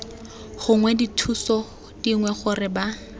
gongwe dithuso dingwe gore ba